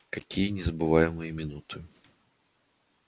какие незабываемые минуты